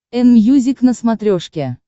энмьюзик на смотрешке